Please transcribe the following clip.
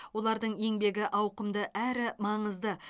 олардың еңбегі ауқымды әрі маңызды